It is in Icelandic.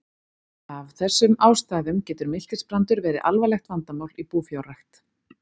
Af þessum ástæðum getur miltisbrandur verið alvarlegt vandamál í búfjárrækt.